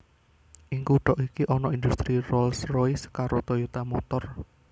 Ing kutha iki ana indhustri Rolls Royce karo Toyota Motor